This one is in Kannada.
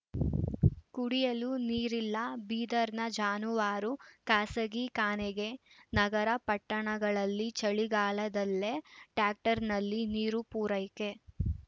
ಕುಡಿಯಲೂ ನೀರಿಲ್ಲ ಬೀದರ್‌ನ ಜಾನುವಾರು ಕಸಾಯಿಖಾನೆಗೆ ನಗರ ಪಟ್ಟಣಗಳಲ್ಲಿ ಚಳಿಗಾಲದಲ್ಲೇ ಟ್ಯಾಂಕರ್‌ನಲ್ಲಿ ನೀರು ಪೂರೈಕೆ